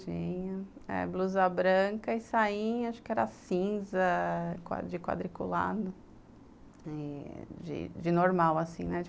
Tinha eh, blusa branca e sainha, acho que era cinza, de quadriculado, eh de de normal assim, né?